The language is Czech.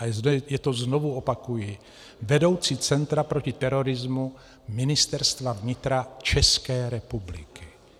A je to, znovu opakuji, vedoucí Centra proti terorismu Ministerstva vnitra České republiky.